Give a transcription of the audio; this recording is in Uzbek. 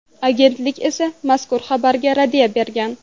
Agentlik esa mazkur xabarga raddiya bergan .